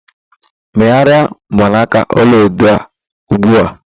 Megharịa mgbanaka ọlaedo a ugbu a!